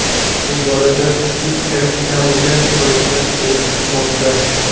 Bu borada PFLga shikoyatlar kelib tushmoqda.